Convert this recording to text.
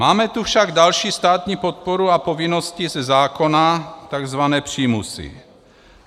Máme tu však další státní podporu a povinnosti ze zákona, tzv. přímusy.